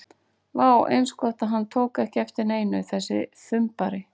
Vá, eins gott að hann tók ekki eftir neinu, þessi þumbari!